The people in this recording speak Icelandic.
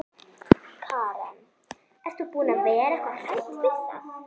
Karen: Ert þú búin að vera eitthvað hrædd við það?